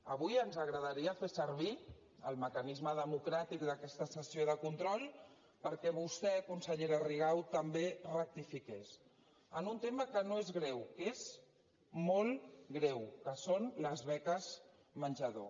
avui ens agradaria fer servir el mecanisme democràtic d’aquesta sessió de control perquè vostè consellera rigau també rectifiqués en un tema que no és greu que és molt greu que són les beques menjador